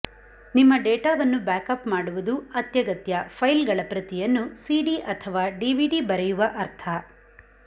ನಿಮ್ಮ ಡೇಟಾವನ್ನು ಬ್ಯಾಕಪ್ ಮಾಡುವುದು ಅತ್ಯಗತ್ಯ ಫೈಲ್ಗಳ ಪ್ರತಿಯನ್ನು ಸಿಡಿ ಅಥವಾ ಡಿವಿಡಿ ಬರೆಯುವ ಅರ್ಥ